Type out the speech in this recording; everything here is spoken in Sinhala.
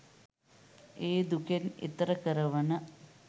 ඒ දුකෙන් එතෙර කරවන